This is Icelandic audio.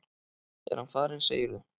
Er hann farinn, segirðu?